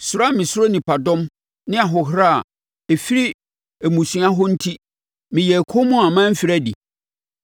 Suro a mesuro nnipadɔm ne ahohora a ɛfiri mmusua hɔ no enti meyɛɛ komm a mamfiri adi?